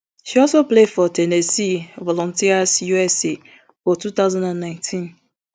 she also play for ten nessee volunteers usa for two thousand and nineteen